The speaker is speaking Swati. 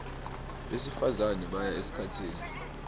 besifazane baya esikhatsini